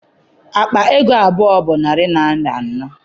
Akpa ego abụọ bụ narị naịra anọ